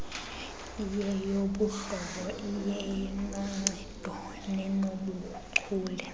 iyeyobuhlobo iyenoncedo nenobuchule